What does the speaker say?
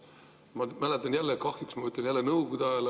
Ma mäletan seda – kahjuks ütlen seda jälle – Nõukogude ajast.